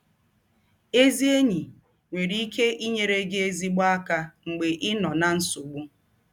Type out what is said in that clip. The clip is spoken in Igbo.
Ezi enyi nwere ike inyere gị ezịgbọ aka mgbe ị nọ ná nsọgbụ.